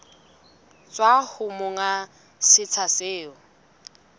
tswa ho monga setsha seo